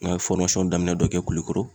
N'a ye daminɛ dɔ kɛ KULIKORO..